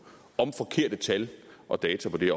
om forkerte tal og data på det